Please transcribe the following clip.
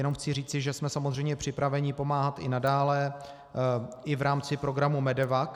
Jenom chci říci, že jsme samozřejmě připraveni pomáhat i nadále, i v rámci programu MEDEVAC.